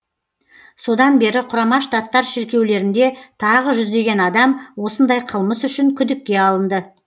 содан бері құрама штаттар шіркеулерінде тағы жүздеген адам осындай қылмыс үшін күдікке алынды